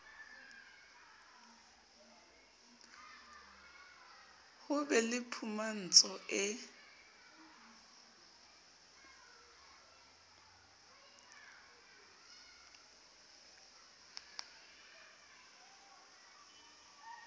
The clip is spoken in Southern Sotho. ho be le phumantso e